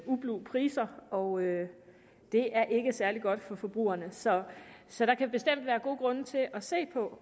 ublu priser og det er ikke særlig godt for forbrugerne så så der kan bestemt være gode grunde til at se på